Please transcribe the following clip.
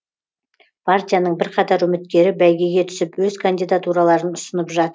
партияның бірқатар үміткері бәйгеге түсіп өз кандидатураларын ұсынып